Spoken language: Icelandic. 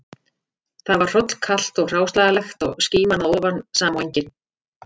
Þar var hrollkalt og hráslagalegt og skíman að ofan sama og engin